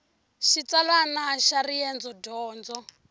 xitsalwana xa riendzo dyondo